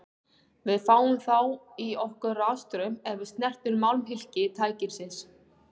Við fáum þá í okkur rafstraum ef við snertum málmhylki tækisins.